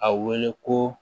A wele ko